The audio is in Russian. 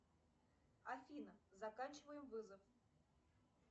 афина заканчиваем вызов